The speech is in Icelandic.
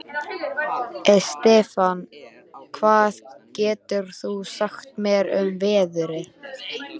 Estefan, hvað geturðu sagt mér um veðrið?